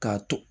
K'a to